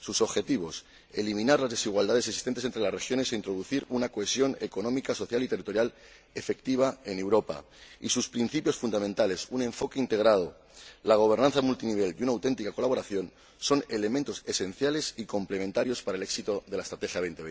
Sus objetivos —eliminar las desigualdades existentes entre las regiones e introducir una cohesión económica, social y territorial efectiva en Europa— y sus principios fundamentales —un enfoque integrado, la gobernanza multinivel y una auténtica colaboración— son elementos esenciales y complementarios para el éxito de la Estrategia Europa